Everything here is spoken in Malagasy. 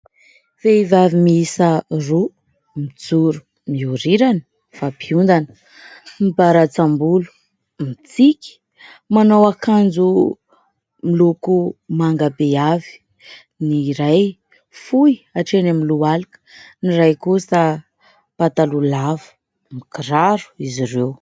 Vehivavy miisa roa, mijoro miorirana, mifampiondana, mibaratsam-bolo, mitsiky. Manao akanjo miloko manga be avy : ny iray fohy hatreo amin'ny lohalika, ny iray kosa pataloha avo ; mikiraro izy ireo.